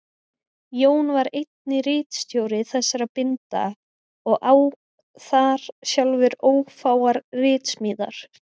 Jón var einnig ritstjóri þessara binda og á þar sjálfur ófáar ritsmíðar.